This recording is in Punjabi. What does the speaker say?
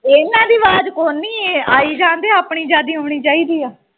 ਇਹਨਾਂ ਦੀ ਆਵਾਜ਼ ਕੋਈ ਨਹੀਂ ਆਈ ਜਾਣਦੇ ਆਪਣੀ ਜ਼ਿਆਦੀ ਆਉਣੀ ਚਾਹੀਦੀ ਆ।